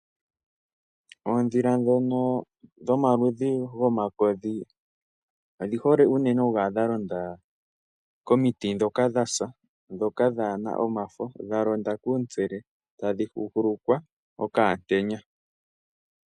Oondhila ndhoka dhomaludhi goomakodhi odhi hole unene okukala dhalonda komiiti ndhoka dha sa, ndhoka dhaa na omafo, dha londa kuuntsele tadhi huhulukwa okaantenya.